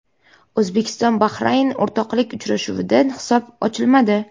O‘zbekiston Bahrayn o‘rtoqlik uchrashuvida hisob ochilmadi.